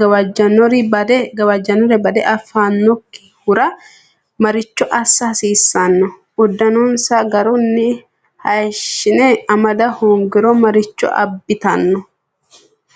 gawajjannore badde affannokkihura maricho assa hasiissanno? Uddanonsa garunni hayishshine amada hoongiro maricho abbitanno?